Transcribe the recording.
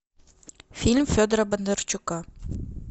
фильм федора бондарчука